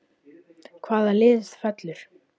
Hvaða lið fellur???